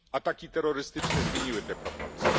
Ataki terrorystyczne zmieniły te proporcje.